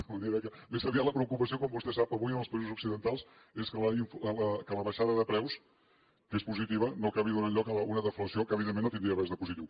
de manera que més aviat la preocupació com vostè sap avui en els països occidentals és que la baixada de preus que és positiva no acabi donant lloc a una deflació que evidentment no tindria res de positiu